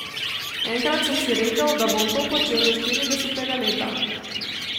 Enkrat sem si rekel, da bom to počel do štiridesetega leta.